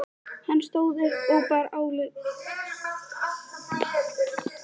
Hann stóð upp og bar ályktun undir atkvæði.